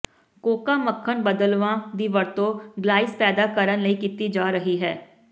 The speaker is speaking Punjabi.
ਕੋਕਾ ਮੱਖਣ ਬਦਲਵਾਂ ਦੀ ਵਰਤੋਂ ਗਲਾਈਜ਼ ਪੈਦਾ ਕਰਨ ਲਈ ਕੀਤੀ ਜਾ ਰਹੀ ਹੈ